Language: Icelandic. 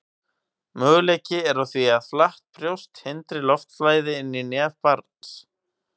Möguleiki er á því að flatt brjóst hindri loftflæði inn í nef barns.